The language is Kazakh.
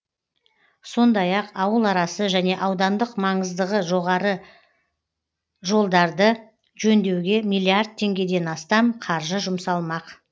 сондай ақ ауыл арасы және аудандық маңыздығы жолдарды жөндеуге миллиард теңгеден астам қаржы жұмсалмақ